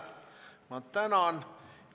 Ma tänan!